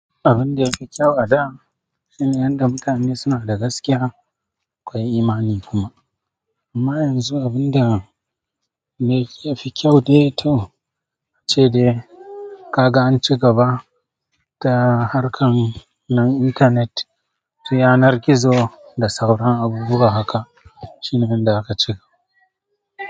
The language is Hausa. Abun da yafi kyau a da shine yanda mutane suna da gaskiya, akwai imani kuma. Amma yanxu abunda yafi kyau dai to ace dai kaga anci gaba ta harkan na intanet, yanar gizo da sauran abubuwa haka shine inda aka cika.